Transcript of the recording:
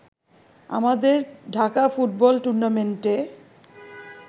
আমাদের ঢাকা ফুটবল টুর্নামেন্টে